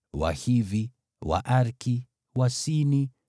Wahivi, Waariki, Wasini,